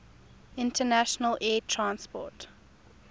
international air transport